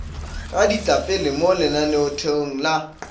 ga ditlapele mo lenaneotherong la